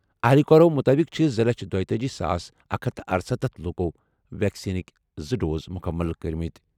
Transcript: اہلِکارو مُطٲبِق چھِ زٕ لچھ دُوتأجی ساس اکھ ہتھَ تہٕ ارسَتتھ لوٗکَو ویکسیٖنٕکۍ زٕ ڈوز مُکمل کٔرِمٕتۍ ۔